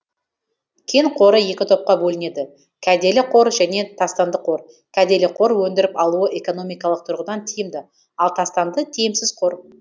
кен қоры екі топқа бөлінеді кәделі қор және тастанды қор кәделі қор өндіріп алуы экономикалық тұрғыдан тиімді ал тастанды тиімсіз қор